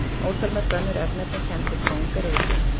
Ótalmörg önnur örnefni kennd við kóng eru á Íslandi.